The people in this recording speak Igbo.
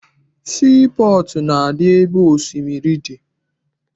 Sii pọọtụ na-adị ebe osimiri dị.